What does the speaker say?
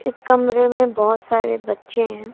इस कमरे में बहुत सारे बच्चे हैं।